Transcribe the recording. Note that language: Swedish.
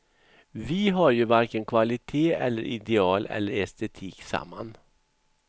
Vi har ju varken kvalitet eller ideal eller estetik samman.